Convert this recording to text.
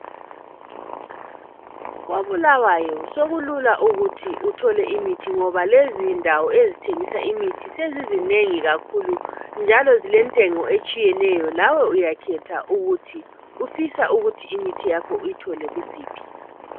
Kobulawayo sokulula ukuthi uthole imithi ngoba lezindawo ezithengiswa imithi sezizinengi kakhulu njalo zilentengo etshiyeneyo lawe uyakhetha ukuthi ufisa imithi yakho uyithole kusiphi